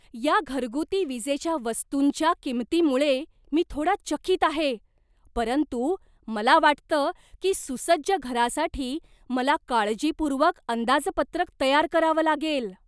या घरगुती विजेच्या वस्तूंच्या किंमतीमुळे मी थोडा चकीत आहे, परंतु मला वाटतं की सुसज्ज घरासाठी मला काळजीपूर्वक अंदाजपत्रक तयार करावं लागेल.